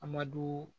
Amadu